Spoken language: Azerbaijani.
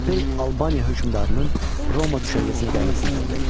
Pompey Albaniya hökmdarının Roma düşərgəsinə gəlməsini tələb etdi.